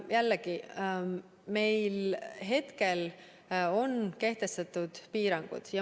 Jällegi, meil on hetkel kehtestatud piirangud.